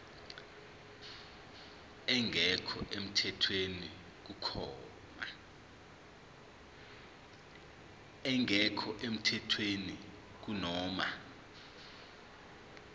engekho emthethweni kunoma